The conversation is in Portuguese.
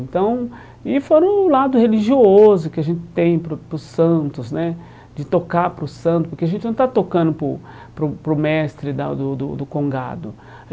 Então e fora o lado religioso que a gente tem para o para os santos né, de tocar para os santos, porque a gente não está tocando para o para o para o mestre da do do do Congado.